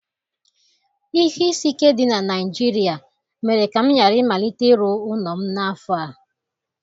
Ihe isi ike dị na Naịjirịa mere ka m ghara ịmalite ịrụ ụlọ m n'afọ a